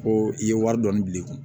Ko i ye wari dɔɔni bila i kun